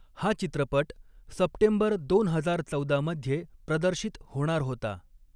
हा चित्रपट सप्टेंबर दोन हजार चौदा मध्ये प्रदर्शित होणार होता.